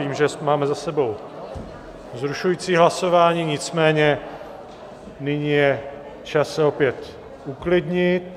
Vím, že máme za sebou vzrušující zasedání, nicméně nyní je čas se opět uklidit.